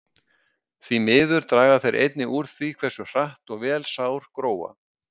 Því miður draga þeir einnig úr því hversu hratt og vel sár gróa.